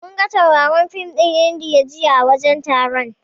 Munga tauraron fin ɗin Idaniya jiya a wajen taron.